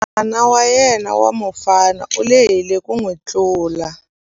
N'wana wa yena wa mufana u lehile ku n'wi tlula.